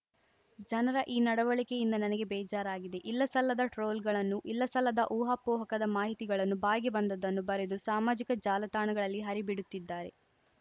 ಜನರ ಈ ನಡವಳಿಕೆಯಿಂದ ನನಗೆ ಬೇಜಾರಾಗಿದೆ ಇಲ್ಲಸಲ್ಲದ ಟ್ರೋಲ್‌ಗಳನ್ನು ಇಲ್ಲ ಸಲ್ಲದ ಊಹಾಪೋಹಕದ ಮಾಹಿತಿಗಳನ್ನು ಬಾಯಿಗೆ ಬಂದದ್ದನ್ನು ಬರೆದು ಸಾಮಾಜಿಕ ಜಾಲತಾಣಗಳಲ್ಲಿ ಹರಿಬಿಡುತ್ತಿದ್ದಾರೆ